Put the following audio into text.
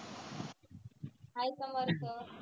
hi Samarth